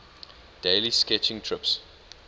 daily sketching trips